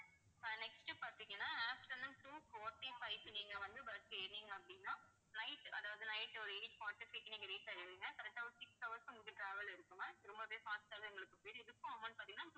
அஹ் next பார்த்தீங்கன்னா afternoon two forty-five க்கு நீங்க வந்து bus ஏறுனீங்க அப்படின்னா night அதாவது night ஒரு eight forty-five க்கு நீங்க reach ஆயிருங்க. correct ஆ, ஒரு six hours உங்களுக்கு travel இருக்கும் ma'am ரொம்பவே fast ஆவே இதுக்கும் amount பாத்தீங்கன்னா